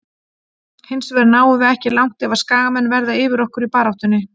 Hinsvegar náum við ekki langt ef að skagamenn verða yfir okkur í baráttunni.